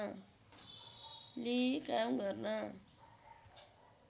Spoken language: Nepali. लिई काम गर्न